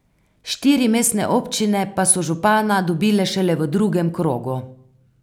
Štiri mestne občine pa so župana dobile šele v drugem krogu.